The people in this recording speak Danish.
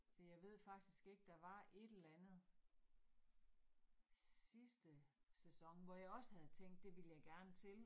Fordi jeg ved faktisk ikke, der var et eller andet sidste sæson, hvor jeg også havde tænkt, det ville jeg gerne til